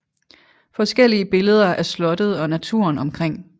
Forskellige billeder af slottet og naturen omkring